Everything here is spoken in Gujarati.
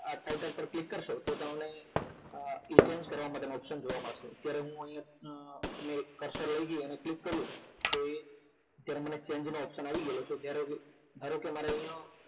આ ટાઇટલ પર ક્લિક કરશો તો તમને એ change કરવા માટેનું option જોવા મળશે અત્યારે હું અહિયાં મે cursor વય ગઈ અને ક્લિક કર્યું તો એ મને change નો option આવી ગયેલો છે અરે અહિયાં